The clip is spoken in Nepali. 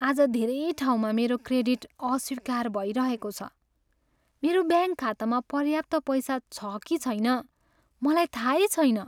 आज धेरै ठाउँमा मेरो क्रेडिट अस्वीकार भइरहेको छ। मेरो ब्याङ्क खातामा पर्याप्त पैसा छ कि छैन मलाई थाहै छैन।